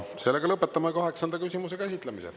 Sellega lõpetame kaheksanda küsimuse käsitlemise.